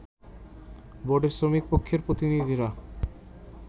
বোর্ডে শ্রমিক পক্ষের প্রতিনিধিরা